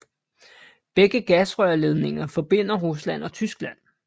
Begge gasrørledninger forbinder Rusland og Tyskland